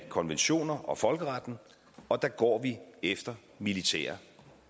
konventioner og folkeretten og der går vi efter militære